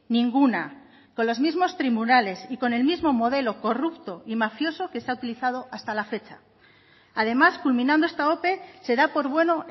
ninguna con los mismos tribunales y con el mismo modelo corrupto y mafioso que se ha utilizado hasta la fecha además culminando esta ope se da por bueno